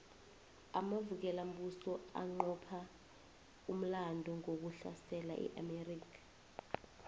amavukelambuso aqopha umlando ngokusahlesa iamerica